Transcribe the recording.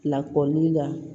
Lakɔli la